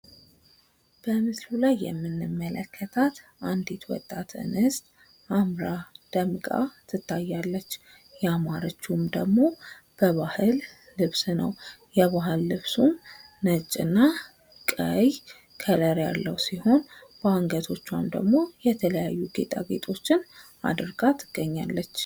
በምስሉ ላይ የሚንመለከታት አንዲት ወጣት እንስት አምራ ደምቃ ትታያለች። ያማረችዉም ደግሞ በባህል ልብስ ነው። የባህል ልብሱም ነጭና ቀይ ከለር ያለው ሲሆን ባንገቶቿም ደግሞ የተለያዩ እየጠየቄጦችን አድርጋ ትገኛለች።